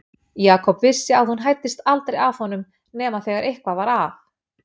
Jakob vissi að hún hæddist aldrei að honum nema þegar eitthvað var að.